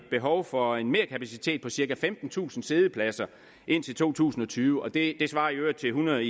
behov for en merkapacitet på cirka femtentusind siddepladser indtil to tusind og tyve og det svarer i øvrigt til hundrede